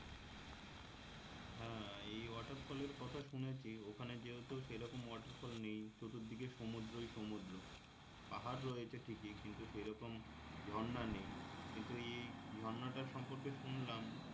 হ্যাঁ এই waterfall এর কথা শুনেছি ওখানে যেহেতু সেরকম waterfall নেই চতুর্দিকে সমুদ্রই সমুদ্র পাহাড় রয়েছে ঠিকই কিন্তু সেরকম ঝর্না নেই কিন্তু এই ঝর্নাটা সম্পর্কে শুনলাম